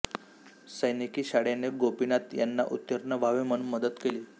सैनिकी शाळेने गोपीनाथ यांना उत्तीर्ण व्हावे म्हणून मदत केली